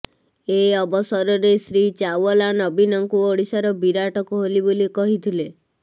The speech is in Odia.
ଏ ଅବସରରେ ଶ୍ରୀ ଚାୱଲା ନବୀନଙ୍କୁ ଓଡ଼ିଶାର ବିରାଟ କୋହଲି ବୋଲି କହିଥିଲେ